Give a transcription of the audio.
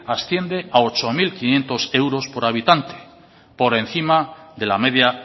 asciende a ocho mil quinientos euros por habitante por encima de la media